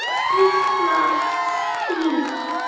En svona tifar tíminn.